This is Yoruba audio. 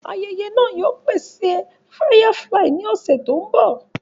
Ayẹyẹ náà yóò pèsè Firefly ní ọ̀sẹ̀ tó mbọ̀